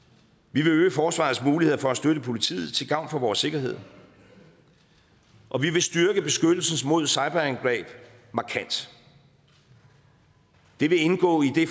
vi vil øge forsvarets muligheder for at støtte politiet til gavn for vores sikkerhed og vi vil styrke beskyttelsen mod cyberangreb markant det vil indgå i det